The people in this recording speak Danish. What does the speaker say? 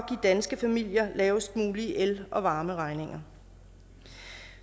danske familier de lavest mulige el og varmeregninger